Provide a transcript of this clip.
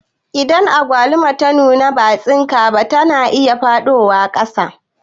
Idan agwaluma ta nuna ba'a tsinka ba, ta na iya faɗowa ƙasa